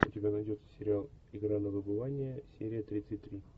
у тебя найдется сериал игра на выбывание серия тридцать три